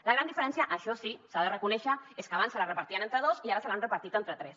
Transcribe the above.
la gran diferència això sí s’ha de reconèixer és que abans se les repartien entre dos i ara se les han repartit entre tres